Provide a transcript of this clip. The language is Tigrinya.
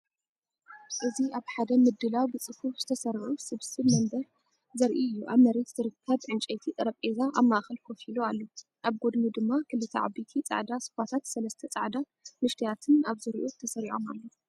እዚ ኣብ ሓደ ምድላው ብጽፉፍ ዝተሰርዑ ስብስብ መንበር ዘርኢ እዩ። ኣብ መሬት ዝርከብ ዕንጨይቲ ጠረጴዛ ኣብ ማእከል ኮፍ ኢሉ ኣሎ፣ ኣብ ጎድኑ ድማ ክልተ ዓበይቲ ጻዕዳ ሶፋታትን ሰለስተ ጻዕዳ ንአሽተያትን ኣብ ዙርያኡ ተሰሪዖም ኣለዉ።